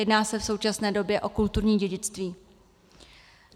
Jedná se v současné době o kulturní dědictví.